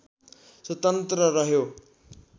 स्वतन्त्र रह्यो